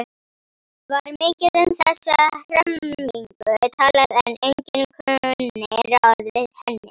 Var mikið um þessa hremmingu talað en enginn kunni ráð við henni.